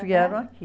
vieram aqui.